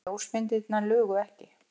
Ljósmyndirnar lugu ekki.